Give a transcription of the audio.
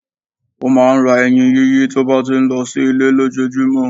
Ó máa n ra eyin yíyí tó bá ti n lo sí Ilé lójojúmó